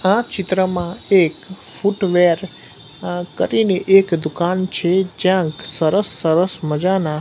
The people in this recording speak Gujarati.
આ ચિત્રમાં એક ફૂટવેર આ કરીને એક દુકાન છે જ્યાં સરસ સરસ મજાના--